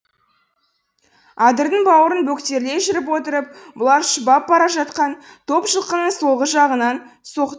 адырдың бауырын бөктерлей жүріп отырып бұлар шұбап бара жатқан топ жылқының солғы жағынан соқ